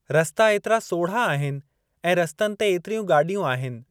रस्ता एतिरा सोढ़ा आहिनि ऐं रस्तनि ते एतिरियूं ॻाॾियूं आहिनि।